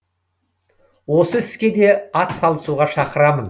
осы іске де атсалысуға шақырамын